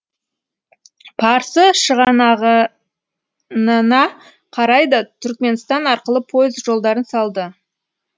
парсы шығанағынына қарай да түрікменстан арқылы пойыз жолдарын салды